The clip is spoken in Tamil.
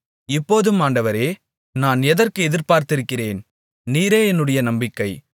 இப்போதும் ஆண்டவரே நான் எதற்கு எதிர்பார்த்திருக்கிறேன் நீரே என்னுடைய நம்பிக்கை